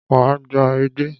Wá gba edé.